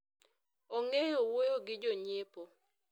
ong'eyo wuoyo gi jonyiepo